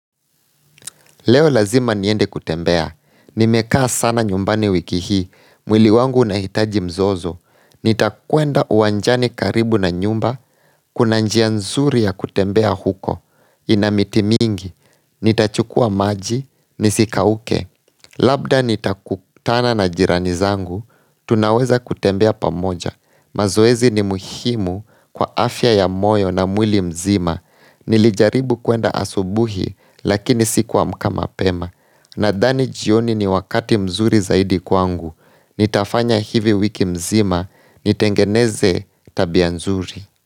Leo lazima niende kutembea, nimekaa sana nyumbani wiki hii, mwili wangu unahitaji mzozo Nitakuenda uwanjani karibu na nyumba, kuna njia nzuri ya kutembea huko, ina miti mingi, nitachukua maji, nisikauke Labda nitakutana na jirani zangu, tunaweza kutembea pamoja, mazoezi ni muhimu kwa afya ya moyo na mwili mzima Nilijaribu kwenda asubuhi lakini sikuamka mapema Nadhani jioni ni wakati mzuri zaidi kwangu Nitafanya hivi wiki mzima Nitengeneze tabia mzuri.